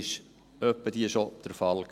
Das war ab und zu schon der Fall.